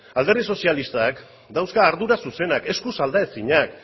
alderdi sozialistak dauzka ardura zuzenak eskuz aldaezinak